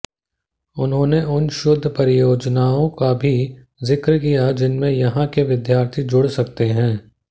उन्होंने उन शोध् परियोजनाओं का भी जिक्र किया जिनमें यहां के विद्यार्थी जुड़ सकते हैं